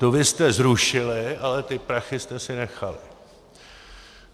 Tu vy jste zrušili, ale ty prachy jste si nechali.